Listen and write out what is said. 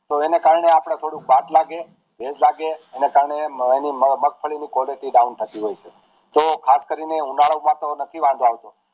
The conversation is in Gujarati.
તો એના કારણે અપડે થોડું બાસ લાગે ભેજ લાગે એના કારણે મગફળી ની Qualitydown થતું જાય છે તો ખાસ કરી ને ઉનાળુ પાક હવે નથી વવાતો